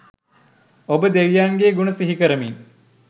ඔබ දෙවියන්ගේ ගුණ සිහිකරමින්